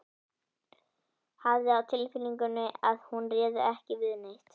Hafði á tilfinningunni að hún réði ekki við neitt.